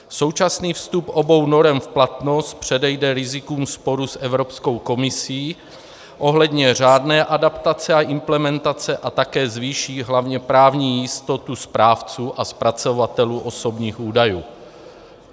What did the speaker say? Současný vstup obou norem v platnost předejde rizikům sporu s Evropskou komisí ohledně řádné adaptace a implementace a také zvýší hlavně právní jistotu správců a zpracovatelů osobních údajů.